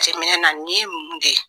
Jatɛminɛna nin ye mun de ye?